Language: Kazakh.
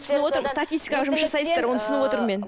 түсініп отырмын статистикаға жұмыс жасайсыздар оны түсініп отырмын мен